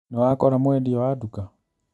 Nĩwakora mwendia wa nduka?